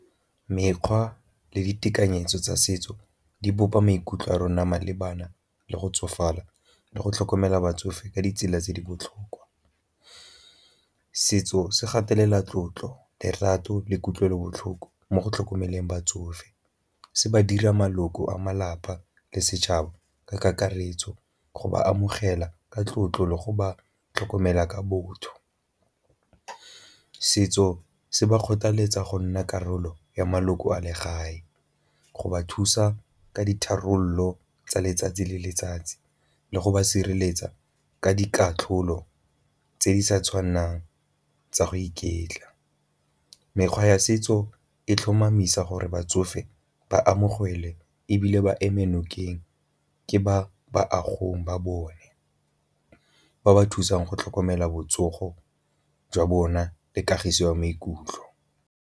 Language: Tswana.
Mekgwa le ditekanyetso tsa setso di bopa maikutlo a rona malebana le go tsofala le go tlhokomela batsofe ka ditsela tse di botlhokwa. Setso se gatelela tlotlo, lerato le kutlwelobotlhoko mo go tlhokomeleng batsofe, se ba dira maloko a malapa le setšhaba ka kakaretso go ba amogela ka tlotlo le go ba tlhokomela ka botho. Setso se ba kgothaletsa go nna karolo ya maloko a legae, go ba thusa ka ditharololo tsa letsatsi le letsatsi le go ba sireletsa ka dikatlholo tse di sa tshwanelang tsa go iketla. Mekgwa ya setso e tlhomamisa gore batsofe ba amogele ebile ba ema nokeng ke ba ba bone, ba ba thusang go tlhokomela botsogo jwa bona le kagiso ya maikutlo.